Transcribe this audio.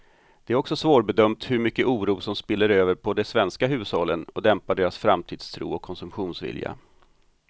Det är också svårbedömt hur mycket oro som spiller över på de svenska hushållen och dämpar deras framtidstro och konsumtionsvilja.